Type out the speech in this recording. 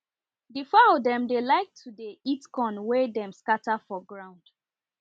the fowl dem dey like to dey eat corn wen dem scatter for ground